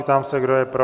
Ptám se, kdo je pro?